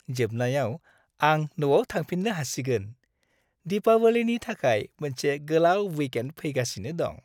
जोबनायाव आं न'आव थांफिननो हासिगोन। दिपावलीनि थाखाय मोनसे गोलाव विकेन्ड फैगासिनो दं।